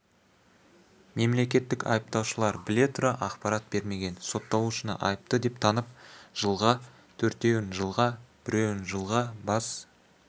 мемлекеттік айыптаушылар біле тұра ақпарат бермеген сотталушыны айыпты деп танып жылға төртеуін жылға біреуін жылға бас